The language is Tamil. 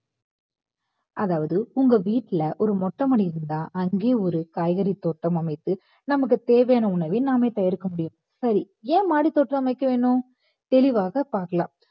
அதாவது உங்க வீட்ல ஒரு மொட்டை மாடி இருந்தா அங்கே ஒரு காய்கறி தோட்டம் அமைத்து நமக்கு தேவையான உணவை நாமே தயாரிக்க முடியும் சரி ஏன் மாடித்தோட்டம் அமைக்க வேணும் தெளிவாக பார்க்கலாம்